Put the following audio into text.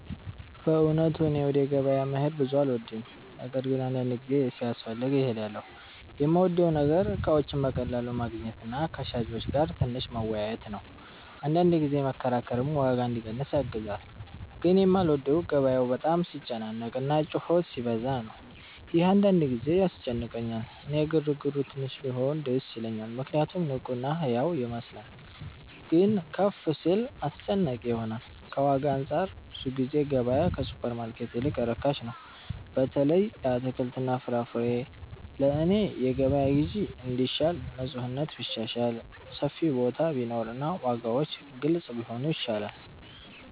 በእውነቱ እኔ ወደ ገበያ መሄድ ብዙ አልወድም፤ ነገር ግን አንዳንድ ጊዜ ሲያስፈልግ እሄዳለሁ። የምወደው ነገር እቃዎችን በቀላሉ ማግኘት እና ከሻጮች ጋር ትንሽ መወያየት ነው፤ አንዳንድ ጊዜ መከራከርም ዋጋ እንዲቀንስ ያግዛል። ግን የማልወደው ገበያው በጣም ሲጨናነቅ እና ጩኸት ሲበዛ ነው፤ ይህ አንዳንድ ጊዜ ያስጨንቀኛል። እኔ ግርግሩ ትንሽ ሲሆን ደስ ይለኛል ምክንያቱም ንቁ እና ሕያው ይመስላል፤ ግን ከፍ ሲል አስጨናቂ ይሆናል። ከዋጋ አንፃር ብዙ ጊዜ ገበያ ከሱፐርማርኬት ይልቅ ርካሽ ነው፣ በተለይ ለአትክልትና ፍራፍሬ። ለእኔ የገበያ ግዢ እንዲሻል ንፁህነት ቢሻሻል፣ ሰፊ ቦታ ቢኖር እና ዋጋዎች ግልጽ ቢሆኑ ይሻላል።